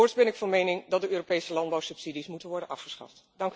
Voorts ben ik van mening dat de Europese landbouwsubsidies moeten worden afgeschaft.